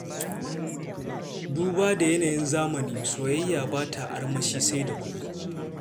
Duba da yanayin zamani, soyayya ba ta armashi sai da kuɗi.